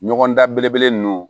Ɲɔgɔndan belebele ninnu